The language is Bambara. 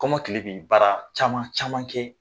Kɔmɔkili bɛ baara caman caman kɛ